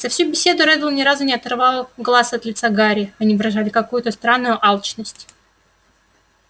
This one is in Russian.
за всю беседу реддл ни разу не оторвал глаз от лица гарри они выражали какую-то странную алчность